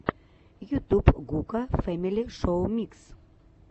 ютуб гука фэмили шоу микс